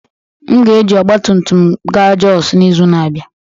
M ga-eji ọgbatumtum m gaa Jos n'izu na-abịa